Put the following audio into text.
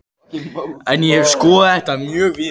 En ég hef skoðað þetta mjög víða.